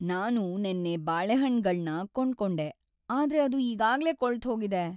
ನಾನು ನೆನ್ನೆ ಬಾಳೆಹಣ್ಣ್‌ಗಳ್ನ ಕೊಂಡ್ಕೊಂಡೆ, ಆದ್ರೆ ಅದು ಈಗಾಗ್ಲೇ ಕೊಳ್ತ್‌ಹೋಗಿದೆ.